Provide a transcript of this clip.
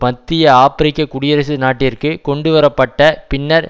மத்திய ஆபிரிக்க குடியரசு நாட்டிற்கு கொண்டுவர பட்ட பின்னர்